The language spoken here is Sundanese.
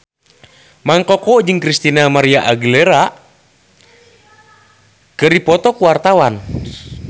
Mang Koko jeung Christina María Aguilera keur dipoto ku wartawan